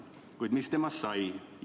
Kuid mis temast sai?